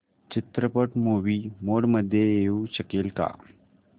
चित्रपट movie mode मध्ये येऊ शकेल का